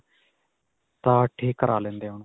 ਤਾਂ ਠੀਕ ਕਰਾ ਲੈਂਦੇ ਹਾਂ.